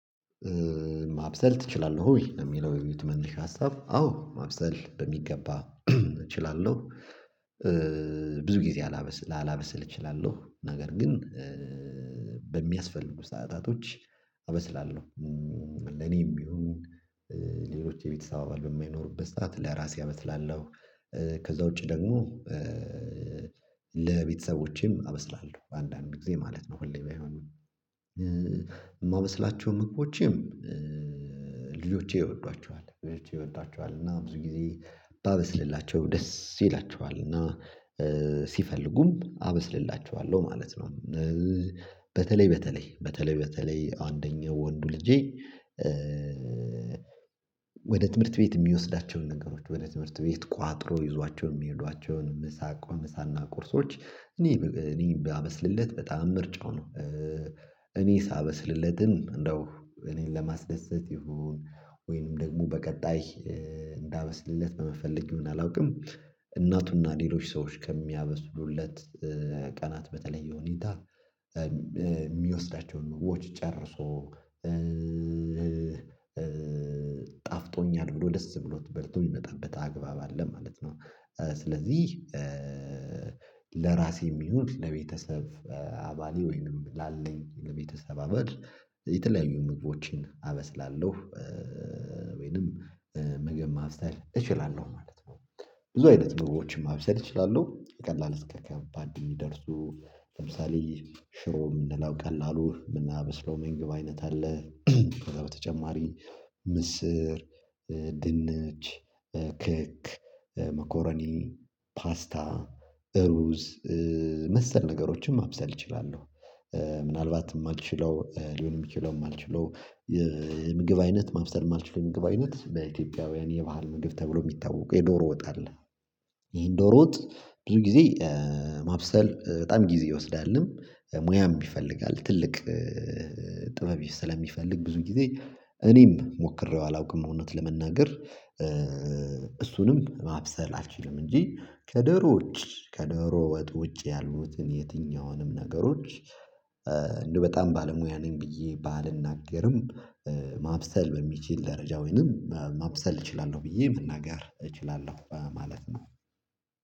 ማብሰል ትችላለህ ወይ? ለሚለው የቤቱ መነሻ ሀሳብ አዎ ማብሰል በሚገባ እችላለሁ። ብዙ ጊዜ አላበስል ላላበስል እችላለሁ ነገር ግን በሚያስፈልጉ ሰዓታቶች አበስላለሁ። ለኔም ይሁን ሌሎች የቤተሰብ አባል በማይኖሩበት ሰዓት ለራሴ አበስላለሁ። ከዛ ውጪ ደግሞ ለቤተሰቦቼም አበስላለሁ አንዳንድ ጊዜ ማለት ነው። ሁሌ ባይሆንም የማበስላቸውም ምግቦችም ልጆቼ ይወዷቸዋል ልጆቼ ይወዷቸዋል እና ብዙ ጊዜ ባበስልላቸው ደስ ይላቸዋል እና ሲፈልጉም አበስልላቸለሁ ማለት ነው። በተለይ በተለይ በተለይ በተለይ አንደኛው ወንዱ ልጄ ወደ ትምህርት ቤት የሚወስዳቸውን ነገሮች ወደ ትምህርት ቤት ቋጥሮ ይዟቸው የሚሄዷቸውን ምሳ ቋምሳና ቁርሶች እኔ እኔ ባበስልለት በጣም ምርጫው ነው። እኔ ሳበስልለትም እንደው እኔን ለማስደሰት ይሁን ወይንም ደግሞ በቀጣይ እንዳበስልለት በመፈለግ ይሁን አላውቅም እናቱና ሌሎች ሰዎች ከሚያበስሉለት ቀናት በተለየ ሁኔታ የሚወስዳቸውን ምግቦች ጨርሶ ጣፍጦኛል ብሎ ደስ ብሎት በልቶ የሚመጣበት አግባብ አለ ማለት ነው። ስለዚህ ለራሴም ይሆን ለቤተሰብ አባሌ ወይንም ላለኝ ለቤተሰብ አባል የተለያዩ ምግቦችን አበስላለሁ ወይንም ምግብ ማብሰል እችላለሁ ማለት ነው። ብዙ አይነት ምግቦችን ማብሰል እችላለሁ ከቀላል እስከ ከባድ የሚደርሱ ለምሳሌ ሽሮ ምንለው ቀላሉ የምናብስ ምግብ አይነት አለ ከዛ በተጨማሪ ምስር ድንች ክክ መኮረኒን ፓስታ ሩዝ መሰል ነገሮችን ማብሰል እችላለሁ። ምናልባት የማልችለው ሊሆን የሚችለውም የማልችለው የምግብ አይነት ማብሰል የማልችለው ምግብ አይነት በኢትዮጵያውያን የባህል ምግብ ተብሎ የሚታወቀው የዶሮ ወጥ አለ። ይሄን ዶሮ ወጥ ብዙ ጊዜ ማብሰል በጣም ጊዜ ይወስዳልም ሙያም ይፈልጋል ትልቅ ጥበብ ስለሚፈልግ ብዙ ጊዜ እኔም ሞክሬው አላውቅም እውነት ለመናገር። እሱንም ማብሰል አልችልም እንጂ ከዶሮ ውጭ ከዶሮ ወጥ ውጪ ያሉትን የትኛውንም ነገሮች። እንደው በጣም ባለሙያ ነኝ ብዬ ባልናገርም ማብሰል በሚችል ደረጃ ወይንም ማብሰል እችላለሁ ብዬ መናገር እችላለሁ በማለት ነው